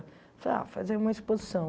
Eu falei, ah, fazer uma exposição.